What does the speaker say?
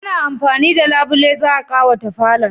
ana amfani da Labule za'a kawata falon.